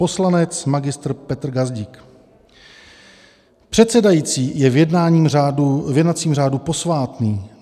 Poslanec magistr Petr Gazdík: Předsedající je v jednacím řádu posvátný.